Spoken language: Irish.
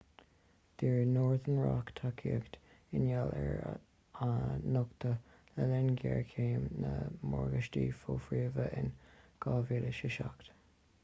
d'iarr northern rock tacaíocht i ngeall ar a nochtadh le linn ghéarchéim na morgáistí fo-phríomha in 2007